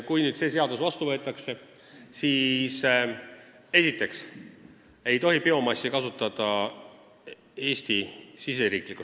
Kui nüüd see seadus vastu võetakse, siis esiteks ei tohi meil biomassi riigisiseses tarbimises kasutada.